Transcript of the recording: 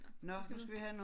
Nåh vi skal videre